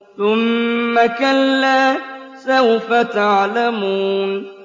ثُمَّ كَلَّا سَوْفَ تَعْلَمُونَ